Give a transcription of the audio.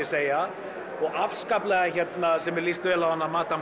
segja og afskaplega sem mér líst vel á hana